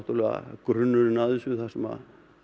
grunnurinn að þessu þar sem